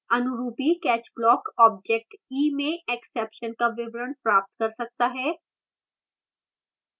अनुरूपी catch block object e में exception का विवरण प्राप्त कर सकता है